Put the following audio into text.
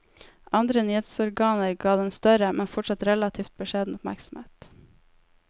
Andre nyhetsorganer ga den større, men fortsatt relativt beskjeden oppmerksomhet.